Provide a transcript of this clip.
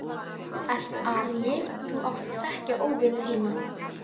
Þú. þú ert aríi, þú átt að þekkja óvini þína.